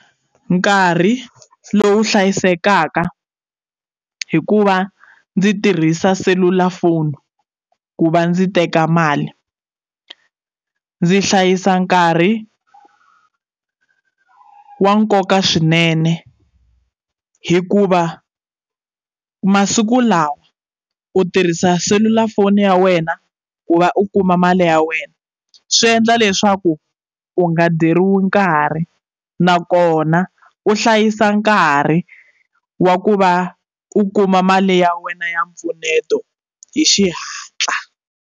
Nkarhi lowu hlayisekaka hikuva ndzi tirhisa selulafoni ku va ndzi teka mali ndzi hlayisa nkarhi wa nkoka swinene hikuva masiku lawa u tirhisa selulafoni ya wena ku va u kuma mali ya wena swiendla leswaku u nga dyeriwi nkarhi nakona u hlayisa nkarhi wa ku va u kuma mali ya wena ya mpfuneto hi xihatla.